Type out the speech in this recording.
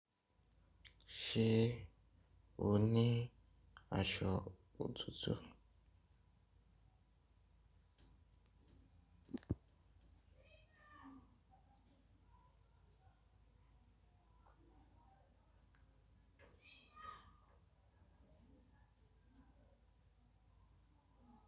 Ṣé o ní aṣọ òtútù?